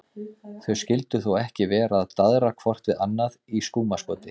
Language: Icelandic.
Þau skyldu þó ekki vera að daðra hvort við annað í skúmaskoti?